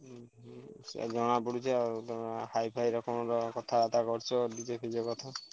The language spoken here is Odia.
ଉହୁଁ ସେୟା ଜଣାପଡୁଛି ଆଉ ତମର high ଫାଇ ରକମର କଥାବାର୍ତ୍ତା କରୁଛ DJ ଫିଜେ କଥା।